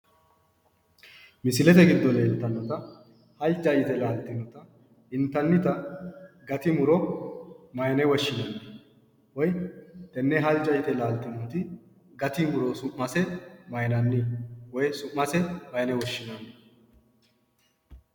Misilete giddo heedhannota halja yite laaltinnota intannita gati muro maayiine woshshinanni? woyi tenne halja yite laaltinota gati muro su'mase maayinanni? woyi su'mase maayiine woshshinanni?